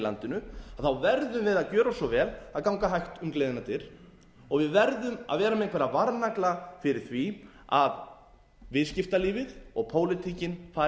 landinu þá verðum við að gjöra svo vel og ganga hægt um gleðinnar dyr og við verðum að vera með einhverja varnagla fyrir því að viðskiptalífið og pólitíkin fari ekki